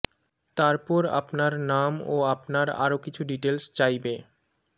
তার পর আপনার নাম ও আপনার আরো কিছু ডিটেলস চাইবে